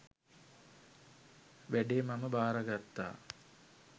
වැඩේ මම භාරගත්තා.